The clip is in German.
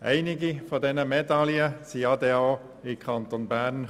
Einige dieser Medaillen kamen ja auch in den Kanton Bern.